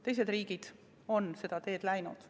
Teised riigid on seda teed läinud.